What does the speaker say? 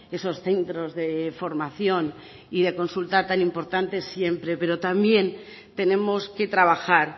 esos centros de formación y de consulta tan importantes siempre pero también tenemos que trabajar